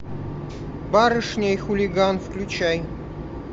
барышня и хулиган включай